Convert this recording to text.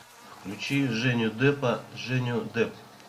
включи женю дэпа женю дэп